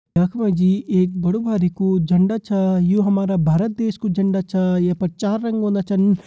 यख मा जी एक बडु भारी कू झंडा छ यु हमारु भारत देश कू झंडा छ यख पर चार रंग औंदा छन।